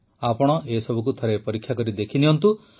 ଆପଣ ଏସବୁକୁ ଥରେ ପରୀକ୍ଷା କରିଦେଖନ୍ତୁ